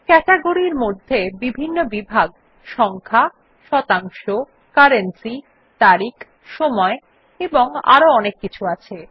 category এর মধ্যে বিভিন্ন বিভাগ যেমন সংখ্যা শতাংশ কারেন্সি তারিখ সময় এবং আরো অনেক কিছু আছে